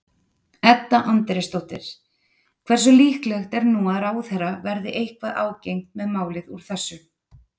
Edda Andrésdóttir: Hversu líklegt er nú að ráðherra verði eitthvað ágengt með málið úr þessu?